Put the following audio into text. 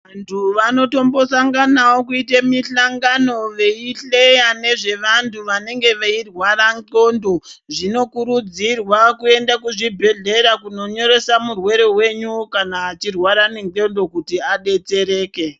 Vantu vanotombosanganawo kuyite mihlangano veyihleya nezvevantu vanenge veyirwara nxondo ,zvinokurudzirwa kuyenda kuzvibhedhlera kunonyoresa murwere wenyu kuti kana achirwara nenxondo kuti adetsereke.